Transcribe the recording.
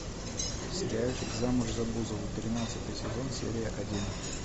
сериальчик замуж за бузову тринадцатый сезон серия один